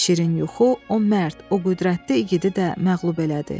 Şirin yuxu o mərd, o qüdrətli igidi də məğlub elədi.